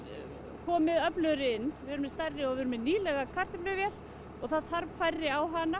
komið öflugri inn við erum með stærri og nýlega kartöfluvél og það þarf færri á hana